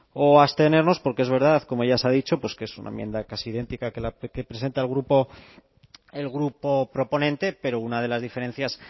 o abstenernos porque es verdad como ya se ha dicho pues que es una enmienda casi idéntica que presenta el grupo proponente pero una de las diferencias